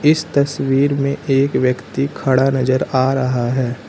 इस तस्वीर में एक व्यक्ति खड़ा नजर आ रहा है।